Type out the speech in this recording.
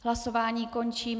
Hlasování končím.